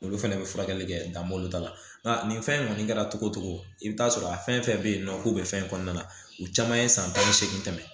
Olu fɛnɛ bɛ furakɛli kɛ dan balo ta la nka nin fɛn in kɔni kɛra togo togo i bɛ taa sɔrɔ a fɛn fɛn bɛ yen nɔ k'o bɛ fɛn kɔnɔna na u caman ye san tan ni seegin tɛmɛ